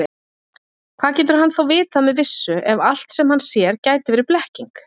Hvað getur hann þá vitað með vissu, ef allt, sem hann sér, gæti verið blekking?